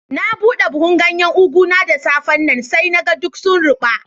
Na bude buhu'n ganyen ugu na da safe'n nan. Sai na gan duk sun ruba.